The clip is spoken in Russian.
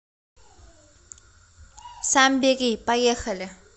самбери поехали